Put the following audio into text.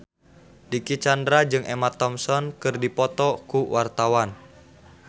Dicky Chandra jeung Emma Thompson keur dipoto ku wartawan